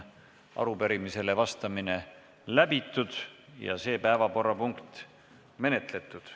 Arupärimisele vastamine on läbitud ja see päevakorrapunkt menetletud.